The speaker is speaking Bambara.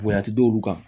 Bonya ti d'olu kan